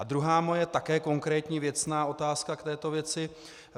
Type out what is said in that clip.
A druhá moje také konkrétní věcná otázka k této věci.